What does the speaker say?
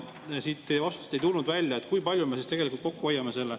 Teie vastusest ei tulnud välja, kui palju me sellega kokku hoiame.